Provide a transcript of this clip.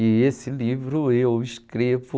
E esse livro eu escrevo...